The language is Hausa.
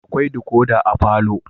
Akwai decoder a palour